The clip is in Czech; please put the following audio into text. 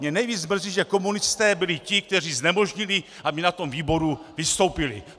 Mě nejvíc mrzí, že komunisté byli ti, kteří znemožnili, aby na tom výboru vystoupili.